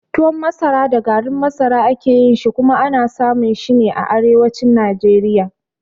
Tuwon masara da garin masara a ke yin shi, kuma ana samun shi ne a arewacin Najeriya.